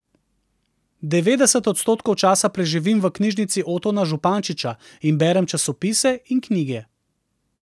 Devetdeset odstotkov časa preživim v Knjižnici Otona Župančiča in berem časopise in knjige.